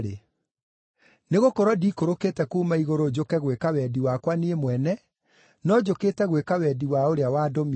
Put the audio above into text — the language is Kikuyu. Nĩgũkorwo ndiikũrũkĩte kuuma igũrũ njũke gwĩka wendi wakwa niĩ mwene, no njũkĩte gwĩka wendi wa ũrĩa wandũmire.